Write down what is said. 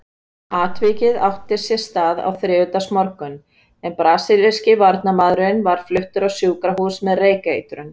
Atvikið átti sér stað á þriðjudagsmorgun en brasilíski varnarmaðurinn var fluttur á sjúkrahús með reykeitrun.